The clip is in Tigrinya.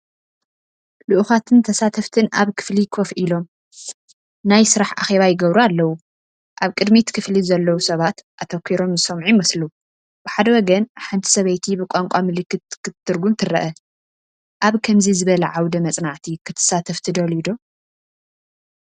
ልኡኻትን ተሳተፍትን ኣብ ክፍሊ ኮፍ ኢሎም፡ ናይ ስራሕ ኣኼባ ይገብሩ ኣለው። ኣብ ቅድሚት ክፍሊ ዘለው ሰባት ኣተኲሮም ዝሰምዑ ይመስሉ። ብሓደ ወገን ሓንቲ ሰበይቲ ብቋንቋ ምልክት ክትትርጉም ትርአ። ኣብ ከምዚ ዝበለ ዓውደ መጽናዕቲ ክትሳተፍ ትደልዩ ዶ?